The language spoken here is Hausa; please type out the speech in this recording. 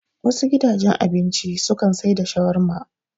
Wasu gidajen abinci su kan sai da shawarma